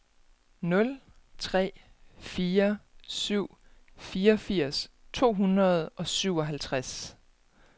nul tre fire syv fireogfirs to hundrede og syvoghalvtreds